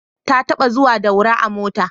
Ta taɓa zuwa Daura a mota